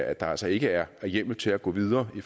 at der altså ikke er hjemmel til at gå videre